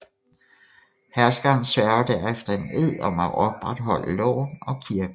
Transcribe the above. Herskeren sværger derefter en ed om at opretholde loven og kirken